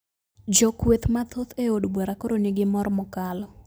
Jo kweth mathoth e od bura koro ni gi mor mokalo